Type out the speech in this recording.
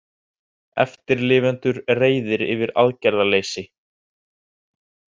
Eftirlifendur reiðir yfir aðgerðarleysi